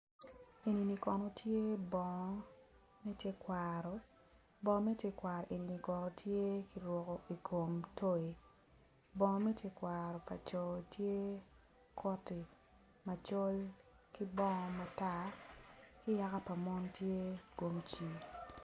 Enini kono tye bongo me tekwaro bongo me tekwaroni kono tye kiruko i kom toyi bongo me tekwaro pa co tye koti macol ki bongo matar ki yaka pa mon tye komci.